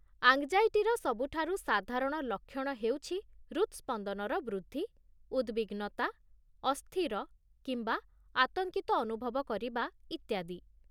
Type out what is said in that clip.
ଆଙ୍ଗ୍‌ଜାଇଟିର ସବୁଠାରୁ ସାଧାରଣ ଲକ୍ଷଣ ହେଉଛି ହୃଦ୍‌ସ୍ପନ୍ଦନର ବୃଦ୍ଧି, ଉଦ୍‌ବିଗ୍ନତା, ଅସ୍ଥିର କିମ୍ବା ଆତଙ୍କିତ ଅନୁଭବ କରିବା ଇତ୍ୟାଦି।